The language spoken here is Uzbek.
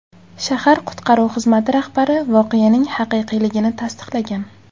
Shahar qutqaruv xizmati rahbari voqeaning haqiqiyligini tasdiqlagan.